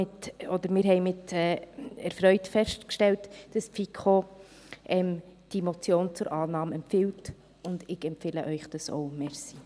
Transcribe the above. Wir haben erfreut festgestellt, dass die FiKo diese Motion zur Annahme empfiehlt, und ich empfehle Ihnen dies auch.